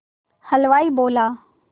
हलवाई बोला